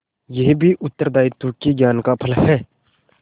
यह भी उत्तरदायित्व के ज्ञान का फल है